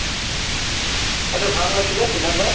achcha ভাল লাগিলে সিদ্ধান্ত ভাই